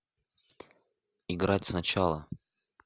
играть сначала